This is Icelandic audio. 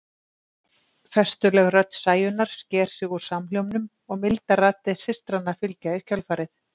Festuleg rödd Sæunnar sker sig úr samhljómnum og mildar raddir systranna fylgja í kjölfarið.